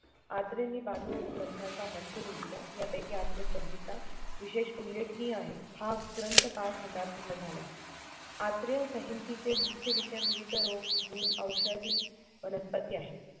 अत्रेंनी बानूग्रंथाचा मजकूर लिहिला यापैकी आत्रेसंहिता विशेष उल्लेखनीय आहे हा ग्रंथ पाच खंडात पूर्ण झाला आहे. आत्रे संहितेचे मुख्य विषय विविध रोग गुण औषधी वनस्पती आहेत.